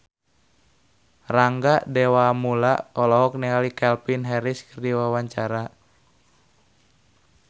Rangga Dewamoela olohok ningali Calvin Harris keur diwawancara